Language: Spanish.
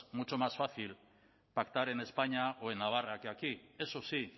mucho más fácil pactar en españa o en navarra que aquí eso sí